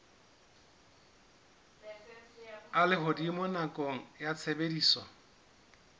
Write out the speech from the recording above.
a lehodimo nakong ya tshebediso